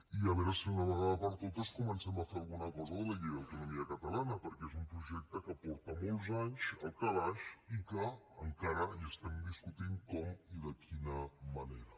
i a veure si d’una vegada per totes comencem a fer alguna cosa de la llei d’autonomia catalana perquè és un projecte que fa molts anys que és al calaix i que encara estem discutint com i de quina manera